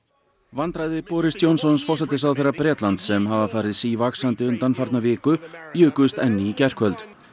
vandræði Boris Johnsons forsætisráðherra Bretlands sem hafa farið sívaxandi undanfarna viku jukust enn í gærkvöld